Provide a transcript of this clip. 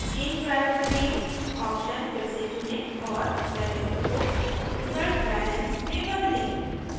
change variable name option फिर से चुनें और variable को resultbalance में बदलें